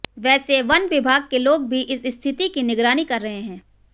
वैसे वन विभाग के लोग भी इस स्थिति की निगरानी कर रहे हैं